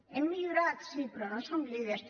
hem millorat sí però no som líders